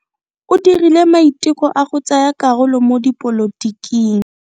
O dirile maiteko a go tsaya karolo mo dipolotiking.